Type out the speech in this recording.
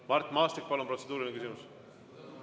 Mart Maastik, palun, protseduuriline küsimus!